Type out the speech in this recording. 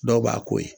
Dɔw b'a ko ye